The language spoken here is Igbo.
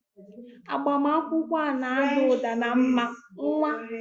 Agbamakwụkwọ a na-ada ụda na mma, nwa!